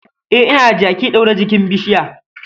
E, ina da jaki ɗaure jikin bishiya.